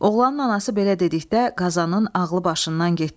Oğlanın anası belə dedikdə Qazanın ağlı başından getdi.